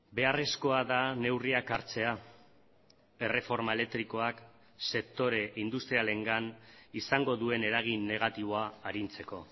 beharrezkoa da neurriak hartzea erreforma elektrikoak sektore industrialengan izango duen eragin negatiboa arintzeko